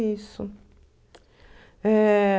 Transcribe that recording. Isso. Eh...